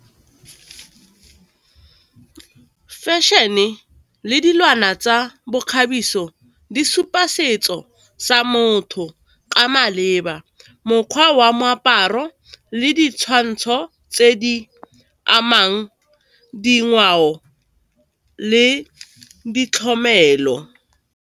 Fashion-e le dilwana tsa bokgabiso di supa setso sa motho ka maleba, mokgwa wa moaparo le ditshwantsho tse di amang dingwao le ditlhomelo.